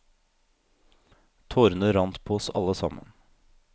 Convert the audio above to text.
Tårene rant på oss alle sammen.